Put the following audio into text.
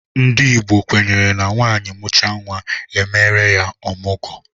Ndị Igbo kwenyere na nwaanyị mụchaa nwa, e meere ya ọmụgwọ.